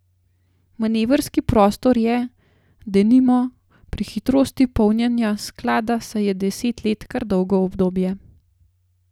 Manevrski prostor je, denimo, pri hitrosti polnjenja sklada, saj je deset let kar dolgo obdobje.